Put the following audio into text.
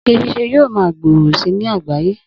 Oge ṣiṣẹ́ yóò ma gbòòrò si ní àgbáyé